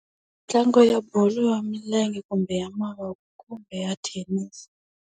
Ntlangu ya bolo ya milenge kumbe ya mavoko, kumbe ya thenisi.